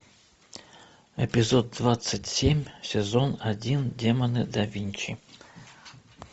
эпизод двадцать семь сезон один демоны да винчи